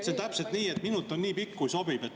See on täpselt nii, et minut on nii pikk, kui sobib.